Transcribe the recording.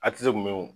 A ti se kun mɛ wo